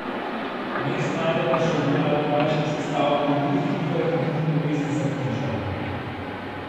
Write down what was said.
Vmes najdemo še objave krajših sestavkov v drugih knjigah in tudi povest Za križem.